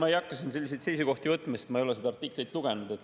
Ma ei hakka siin selliseid seisukohti võtma, sest ma ei ole seda artiklit lugenud.